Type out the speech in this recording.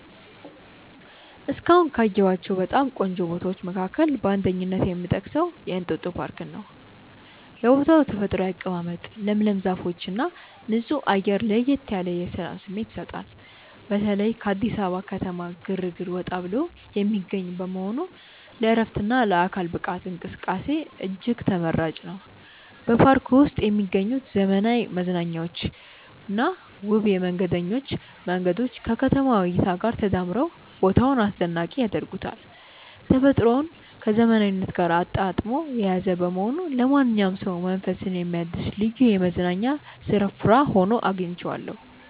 እስካሁን ካየኋቸው በጣም ቆንጆ ቦታዎች መካከል በአንደኝነት የምጠቀሰው የእንጦጦ ፓርክን ነው። የቦታው ተፈጥሯዊ አቀማመጥ፣ ለምለም ዛፎችና ንጹህ አየር ለየት ያለ የሰላም ስሜት ይሰጣል። በተለይም ከአዲስ አበባ ከተማ ግርግር ወጣ ብሎ የሚገኝ በመሆኑ ለዕረፍትና ለአካል ብቃት እንቅስቃሴ እጅግ ተመራጭ ነው። በፓርኩ ውስጥ የሚገኙት ዘመናዊ መዝናኛዎችና ውብ የመንገደኞች መንገዶች ከከተማዋ እይታ ጋር ተዳምረው ቦታውን አስደናቂ ያደርጉታል። ተፈጥሮን ከዘመናዊነት ጋር አጣጥሞ የያዘ በመሆኑ ለማንኛውም ሰው መንፈስን የሚያድስ ልዩ የመዝናኛ ስፍራ ሆኖ አግኝቼዋለሁ።